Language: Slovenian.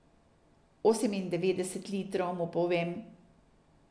Osemindevetdeset litrov, mu povem.